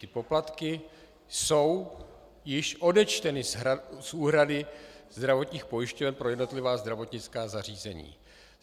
Ty poplatky jsou již odečteny z úhrady zdravotních pojišťoven pro jednotlivá zdravotnická zařízení.